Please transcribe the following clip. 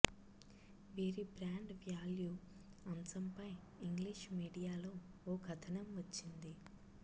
వీరి brand value అంశంపై English మీడియాలో ఓ కథనం వచ్చింది